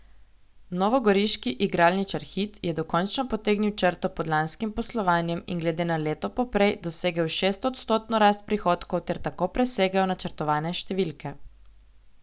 Novogoriški igralničar Hit je dokončno potegnil črto pod lanskim poslovanjem in glede na leto poprej dosegel šestodstotno rast prihodkov ter tako presegel načrtovane številke.